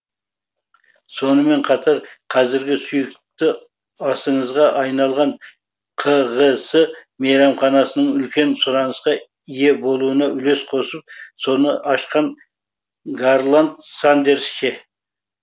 сонымен қатар қазіргі сүйікті асыңызға айналған кғс мейрамханасының үлкен сұранысқа ие болуына үлес қосып соны ашқан гарланд сандерс ше